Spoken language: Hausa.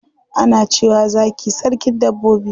Ana cewa zaki sarkin dabbobi.